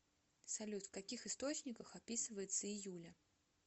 салют в каких источниках описывается июля